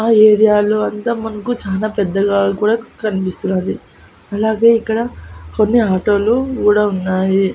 ఆ ఏరియా లో అంత మనకు చాలా పెద్దగా కూడా కనిపిస్తున్నది. అలాగే ఇక్కడ కొన్ని ఆటో లు కూడా ఉన్నాయి.